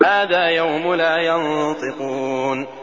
هَٰذَا يَوْمُ لَا يَنطِقُونَ